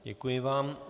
Děkuji vám.